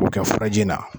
O bɛ kɛ furaji na